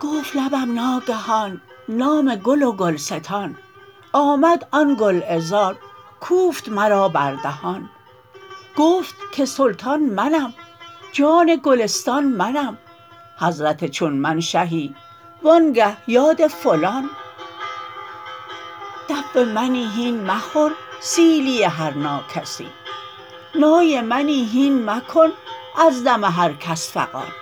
گفت لبم ناگهان نام گل و گلستان آمد آن گل عذار کوفت مرا بر دهان گفت که سلطان منم جان گلستان منم حضرت چون من شهی وآنگه یاد فلان دف منی هین مخور سیلی هر ناکسی نای منی هین مکن از دم هر کس فغان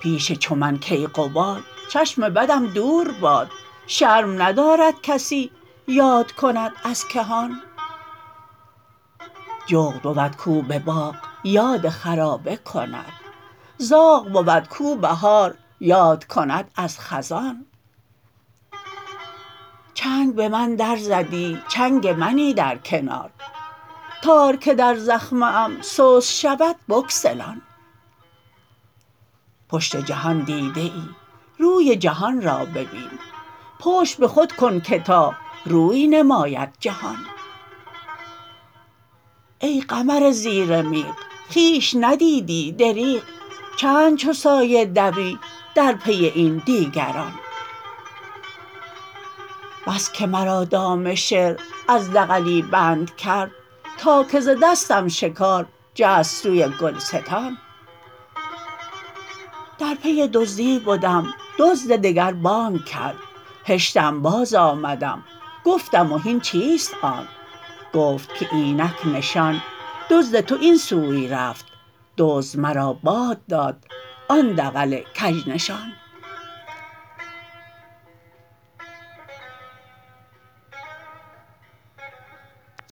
پیش چو من کیقباد چشم بدم دور باد حیف نباشد که تو یاد کنی از کهان جغد بود کو به باغ یاد خرابه کند زاغ بود کو بهار یاد کند از خزان چنگ به من در زدی چنگ منی در کنار تار که در زخمه ام سست شود بگسلان پشت جهان دیده ای روی جهان را ببین پشت به خود کن که تا روی نماید جهان ای قمر زیر میغ خویش ندیدی دریغ چند چو سایه دوی در پی این دیگران بس که مرا دام شعر از دغلی بند کرد تا که ز دستم شکار جست سوی گلستان در پی دزدی بدم دزد دگر بانگ کرد هشتم بازآمدم گفتم و هین چیست آن گفت که اینک نشان دزد تو این سوی رفت دزد مرا باد داد آن دغل کژنشان